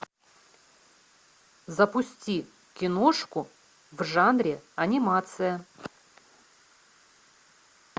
запусти киношку в жанре анимация